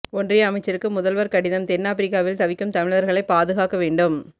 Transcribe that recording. ஒன்றிய அமைச்சருக்கு முதல்வர் கடிதம் தென்னாப்பிரிக்காவில் தவிக்கும் தமிழர்களை பாதுகாக்க வேண்டும்